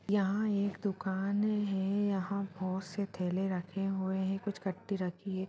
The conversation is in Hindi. यहाँं एक दुकान है यहाँं बहुत से थैले रखे हुए हैं कुछ कट्टी रखी है।